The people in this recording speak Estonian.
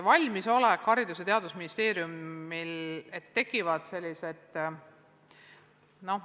Haridus- ja Teadusministeeriumil on olemas valmisolek.